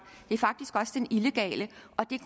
men faktisk også den illegale